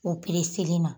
O na